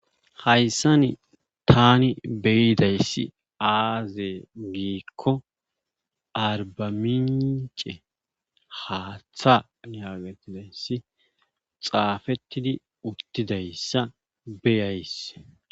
Hayssani taani be7idayssi aaze giikko aarbbamiincce haatha yaagettizayssi xaafettidi uttidyssa beyays.